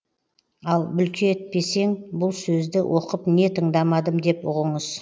ал бүлкетпесең бұл сөзді оқып не тыңдамадым деп ұғыңыз